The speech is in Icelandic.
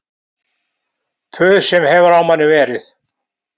Puð sem hefur á manni verið